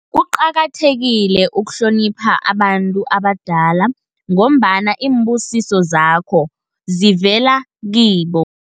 Kuqakathekile ukuhlonipha abantu abadala, ngombana iimbusiso zakho zivela kibo.